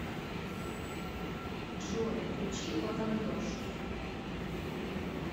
джой включи ватандош